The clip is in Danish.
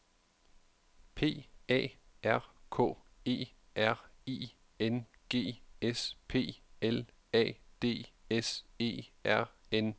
P A R K E R I N G S P L A D S E R N E